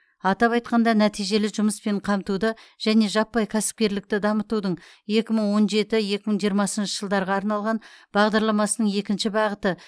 атап айтқанда нәтижелі жұмыспен қамтуды және жаппай кәсіпкерлікті дамытудың екі мың он жеті екі мың жиырмасыншы жылдарға арналған бағдарламасының екінші бағыты